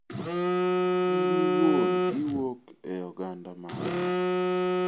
In iwuon iwuok e oganda mane?